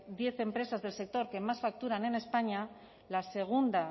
diez empresas del sector que más facturan en españa la segunda